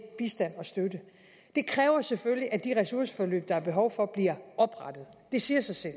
bistand og støtte det kræver selvfølgelig at de ressourceforløb der er behov for bliver oprettet det siger sig selv